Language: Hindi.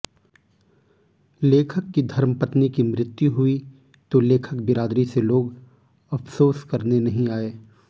लेखक की धर्मपत्नी की मृत्यु हुई तो लेखक बिरादरी से लोग अफसोस करने नहीं आए